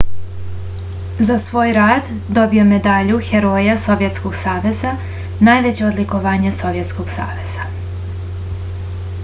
za svoj rad dobio je medalju heroja sovjetskog saveza najveće odlikovanje sovjetskog saveza